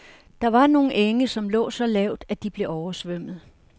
Der var nogle enge, som lå så lavt, at de blev oversvømmet.